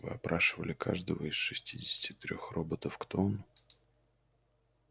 вы опрашивали каждого из шестидесяти трёх роботов кто он